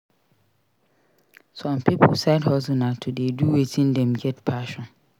Some pipo side hustle na to de do wetin dem get passion